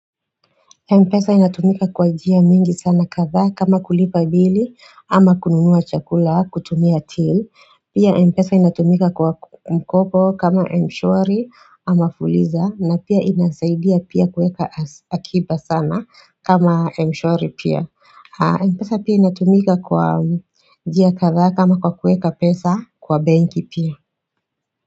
Mpesa inatumika kwa njia mingi sana kadhaa kama kulipa bili ama kununua chakula kutumia til Pia Mpesa inatumika kwa mkopo kama mshwari ama fuliza na pia inasaidia pia kueka hakiba sana kama mshwari pia Mpesa pia inatumika kwa njia kadhaa kama kwa kueka pesa kwa banki pia.